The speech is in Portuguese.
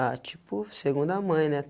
Ah, tipo, segunda mãe, né?